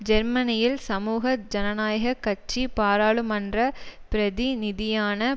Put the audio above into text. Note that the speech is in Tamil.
ஜெர்மனியில் சமூக ஜனநாயக கட்சி பாராளுமன்ற பிரதிநிதியான